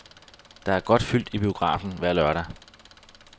Der er godt fyldt i biografen hver lørdag.